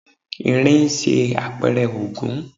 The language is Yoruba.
Irin ń ṣe àpẹrẹ Ògún.